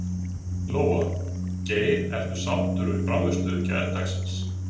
Lóa: Geir, ertu sáttur við frammistöðu gærdagsins?